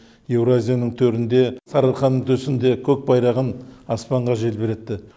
еуразияның төрінде сарыарқаның төсінде көк байрағын аспанға желбіретті